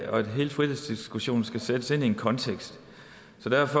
hele frihedsdiskussionen skal sættes ind i en kontekst